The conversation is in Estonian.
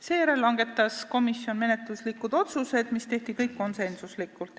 Seejärel langetas komisjon menetluslikud otsused, mis kõik tehti konsensuslikult.